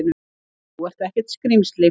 Þú ert ekkert skrímsli!